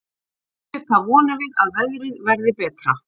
Auðvitað vonum við að veðrið verði betra.